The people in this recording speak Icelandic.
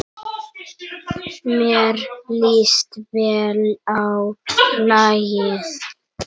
Mér líst vel á lagið.